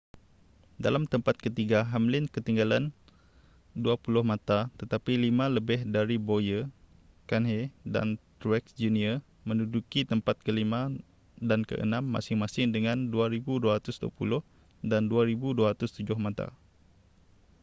dalam tempat ketiga hamlin ketinggalan dua puluh mata tetapi lima lebih dari bowyer kahne dan truex jr menduduki tempat kelima dan keenam masing-masing dengan 2,220 dan 2,207 mata